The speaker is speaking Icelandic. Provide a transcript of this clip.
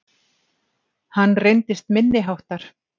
Hann reyndist minniháttar